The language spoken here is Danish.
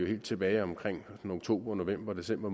helt tilbage omkring oktober november december